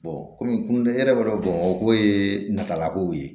kɔmi e yɛrɛ b'a dɔn bamakɔ ye natala kow ye